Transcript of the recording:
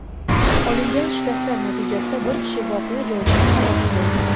Olingan shikastlar natijasida bir kishi voqea joyida halok bo‘lgan.